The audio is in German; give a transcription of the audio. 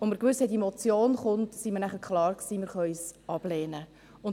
Als wir wussten, dass die Motion kommt, war uns klar, dass wir es ablehnen können.